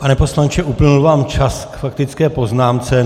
Pane poslanče, uplynul vám čas k faktické poznámce.